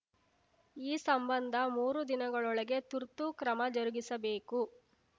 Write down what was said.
ಈ ಸಂಬಂಧ ಮೂರು ದಿನಗಳೊಳಗೆ ತುರ್ತು ಕ್ರಮ ಜರುಗಿಸಬೇಕು